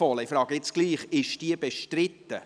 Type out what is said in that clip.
Ich frage jetzt trotzdem: Ist diese bestritten?